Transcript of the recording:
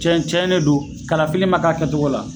Cɛ ccɛnen don kalafili ma k'a kɛcogo la.